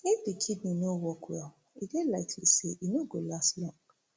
if di kidney no work well e dey likely say e no go last long